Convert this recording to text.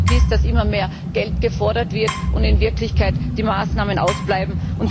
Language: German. Mein Eindruck ist, dass immer mehr Geld gefordert wird, aber in Wirklichkeit die Maßnahmen ausbleiben.